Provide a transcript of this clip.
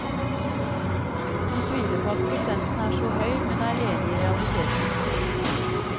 De tviler på at prosenten er så høy, men er enig i realiteten.